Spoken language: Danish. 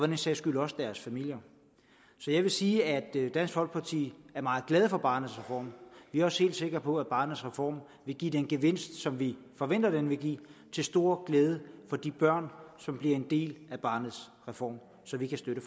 den sags skyld også deres familier så jeg vil sige at dansk folkeparti er meget glade for barnets reform vi er også helt sikre på at barnets reform vil give den gevinst som vi forventer den vil give til stor glæde for de børn som bliver en del af barnets reform så vi kan støtte